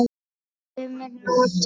Sumir nota